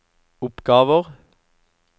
oppgaver